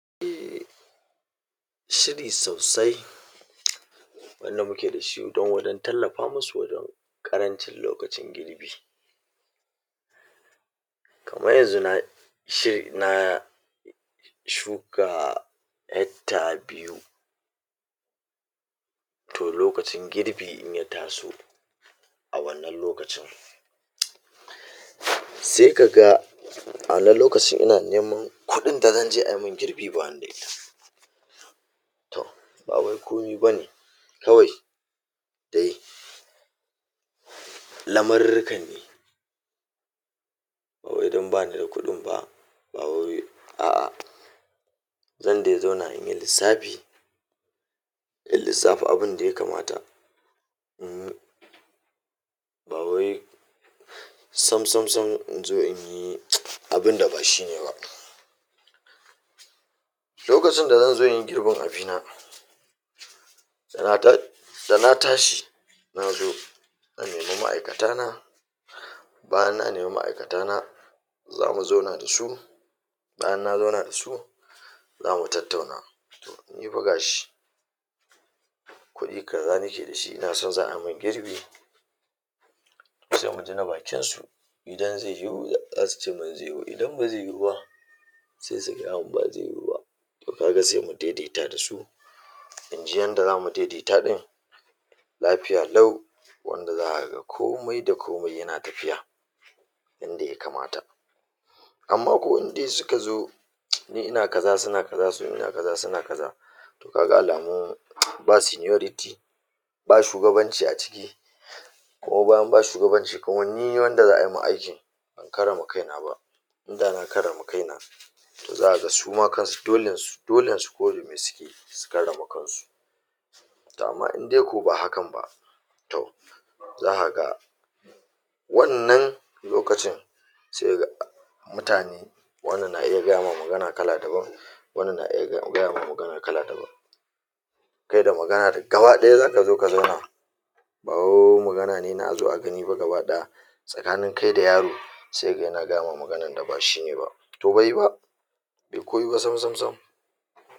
um Shiri sosai wanda muke da shi don waɗan tallafa musu wajan ƙarancin lokacin girbi. Kaman yanzu na shiri na shuka um hecter biyu, toh lokacin girbi in ya taso a wannan lokacin sai ka ga a wannan lokacin ina neman kuɗin da zanje ai min girbi ba ni da ita. Toh, ba wai komi bane kawai dai lamarurrukan ne, bawai don bani da kuɗin ba, bawai a'a zan dai zauna inyi lissafi, in lissafa abunda ya kamata ba wai samsamsam inzo inyi [hiss] abunda ba shine ba. Lokacin da zan zo in yi girbin abina, tana ta da na tashi na zo, zan nemi ma'aikata na, bayan na nemi ma'aikata na, za mu zauna da su, bayan na zauna da su, zamu tattauna. Ni fa ga shi kuɗi kaza nike da shi ina son za ai min girbi, sai muji na bakin su, idan zai yiwu za su cemin zai yiwu, idan ba zai yiwu ba sai su gaya min ba zai yiwu ba, toh ka ga sai mu daidaita da su, inji yadda za mu daidaita ɗin, lafiya lau wanda za ka ga komai da komai yana tafiya yanda ya kamata. Amma ko in dai suka zo [hiss] ni ina kaza suna kaza, su in ina kaza suna kaza, toh kaga alamun [hiss] ba seniority, ba shugabanci a ciki, kuma bayan ba shugabanci, kuma ni wanda za su ma aikin ban karrama kaina ba, inda na karrama kaina, toh za ka ga suma kansu dolen su, dolen su ko da me suke su karrama kan su. Toh, amma in dai ko ba hakan ba, toh za ka ga wannan lokacin sai ka ga um mutane wannan na iya gaya ma magana kala dabam, wannan na iya gaya ma magana kala dabam. Kai da magana da gaba ɗaya zaka zo ka zauna, bawai magana ne na azo a gani ba gaba ɗaya, tsakanin kai da yaro, sai ka ga yana gaya ma maganan da ba shi ne ba. Toh bai yi ba, be ko yi ba samsamsam.